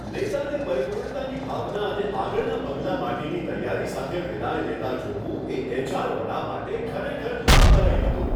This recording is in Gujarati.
નેતાને પરિપૂર્ણતાની ભાવના અને આગળનાં પગલાં માટેની તૈયારી સાથે વિદાય લેતા જોવું, એ એચ.આર. વડા માટે ખરેખર લાભદાયી હતું.